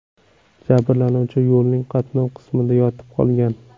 Jabrlanuvchi yo‘lning qatnov qismida yotib qolgan.